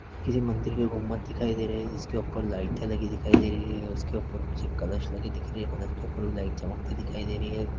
किसी मंदिर के गुम्बत दिखाई दे रहै है जिसके ऊपर लाइटे लगी हुई दिखाई दे रही है उसके ऊपर कुछ कलश लगे दिख रहै है कलश दिख रहै है उसके ऊपर भी लाइट चमकती हुई दिखाई दे रही है।